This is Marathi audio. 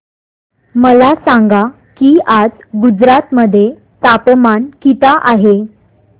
मला सांगा की आज गुजरात मध्ये तापमान किता आहे